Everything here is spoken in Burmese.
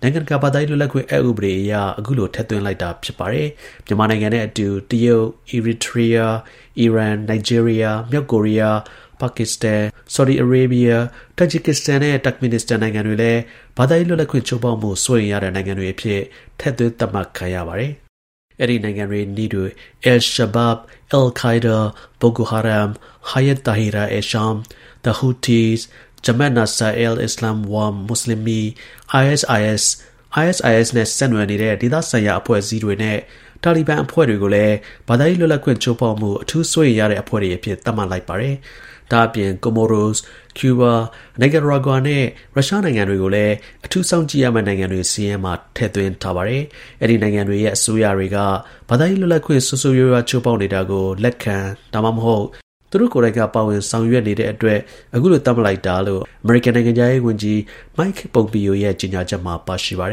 နိုင်ငံ တကာ ဘာသာရေး လွတ်လပ်ခွင့် အက် ဥပဒေ International Religious Freedom Act of 1998 အရ အခုလို ထည့်သွင်းလိုက်တာ ဖြစ်ပါတယ်။ မြန်မာနိုင်ငံနဲ့ အတူ တရုတ်၊ အီရီထရီးယား၊ အီရန်၊ နိုင်ဂျီးရီးယား၊ မြောက်ကိုရီးယား၊ ပါကစ္စတန်၊ ဆော်ဒီ အာရေဘီးယား၊ တာဂျစ် ကစ္စတန်နဲ့ တာ့ခ်မင်နစ္စတန် နိုင်ငံတွေလည်း ဘာသာရေး လွတ်လပ်ခွင့် ချိုးဖောက်မှု စိုးရိမ်ရတဲ့ နိုင်ငံတွေ အဖြစ် ထည့်သွင်း သတ်မှတ် ခံရပါတယ်။ အဲဒီနိုင်ငံတွေ နည်းတူ al-Shabaab, al-Qa’ida, Boko Haram, Hayat Tahrir al-Sham, the Houthis, Jamaat Nasr al-Islam wal Muslimin၊ ISIS, ISIS နဲ့ဆက်နွယ်နေတဲ့ ဒေသဆိုင်ရာ အဖွဲ့အစည်းတွေနဲ့ Taliban အဖွဲ့တွေကိုလည်း ဘာသာရေး လွတ်လပ်ခွင့် ချိုးဖောက်မှု အထူး စိုးရိမ်ရတဲ့ အဖွဲ့တွေ အဖြစ် သတ်မှတ် လိုက်ပါတယ်။ ဒါ့အပြင်၊ Comoros၊ ကျူးဘား၊ နိုင်ကာရာဂွာနဲ့ ရုရှားနိုင်ငံတွေကို အထူး စောင့်ကြည့်ရမယ့်နိုင်ငံတွေ စာရင်းမှာ ထည့်သွင်းထား ပါတယ်။ အဲဒီ နိုင်ငံတွေရဲ့ အစိုးရတွေက ဘာသာရေး လွတ်လပ်ခွင့်ကို ဆိုးဆိုးရွားရွား ချိုးဖောက်နေတာကို လက်ခံ ဒါမှမဟုတ် သူတို့ ကိုယ်တိုင်က ပါဝင် ဆောင်ရွက်နေတဲ့အတွက် အခုလို သတ်မှတ်တာလို့ အမေရိကန်နိုင်ငံခြားရေးဝန်ကြီး Mike Pompeo ရဲ့ ကြေညာချက်မှာ ပါရှိပါတယ်